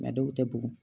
dɔw tɛ bugɔ